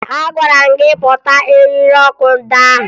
Agwara m gị kpota eriri ọkụ ndị ahụ!